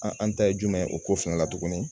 An an ta ye jumɛn ye o ko fɛnɛ la tuguni